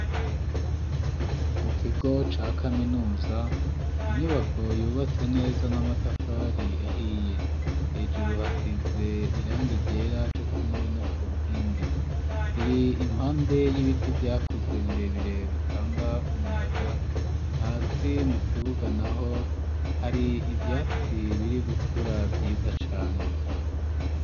Mu kigo ca kaminuza inyubako yubatse neza n'amatafari ahiye hejuru hasize irangi ryera cokimwe no ku nkingi iri impande y'ibiti vyakuze birebire bitanga umuyaga hasi mu kibuga naho hari ivyatsi biri gukura vyiza cane.